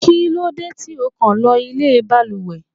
Kí lóde tí ó kàn lọ ilé baluwe!